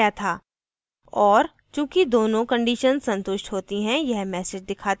और चूँकि दोनों conditions संतुष्ट होती है यह message दिखाता है